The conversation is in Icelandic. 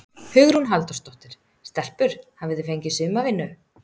Hugrún Halldórsdóttir: Stelpur hafið þið fengið sumarvinnu?